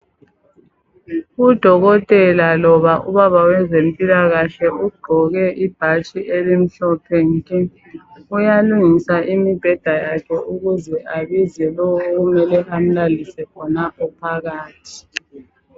Odokotela loba ubaba wezemphilakahle, ogqoke ibhatshi elimhlophe nke. Uyalungisa imibheda yakhe ukuze ibize lo okumele amulalise khonapho phakathi.